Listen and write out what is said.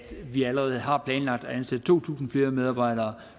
vi allerede har planlagt at ansætte to tusind flere medarbejdere